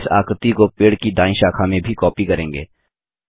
हम इस आकृति को पेड़ की दायीं शाखा में भी कॉपी करेंगे